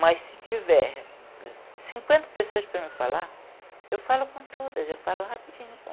Mas se tiver cinquenta pessoas para me falar, eu falo com todas, eu falo rapidinho.